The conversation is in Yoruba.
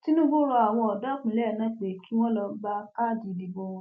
tinúbù rọ àwọn ọdọ ìpínlẹ náà pé kí wọn lọọ gba káàdì ìdìbò wọn